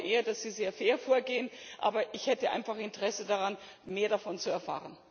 Ich glaube eher, dass Sie sehr fair vorgehen, aber ich hätte einfach Interesse daran, mehr darüber zu erfahren.